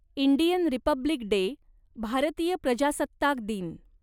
Indian republic day, भारतीय प्रजासत्ताक दिन